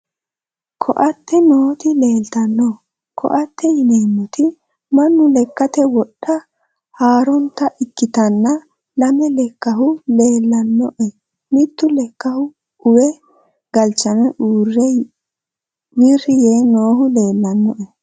koate nooti leeltanno koate yineeemmoti mannu lekkate wodhe harannota ikkitanna lame lekkahu leellannoe mitte lekkahu uwe galchame wirri yee noohu leellannoe